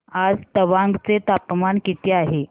आज तवांग चे तापमान किती आहे